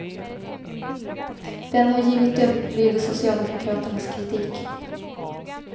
Den har givit upp, lyder socialdemokraternas kritik.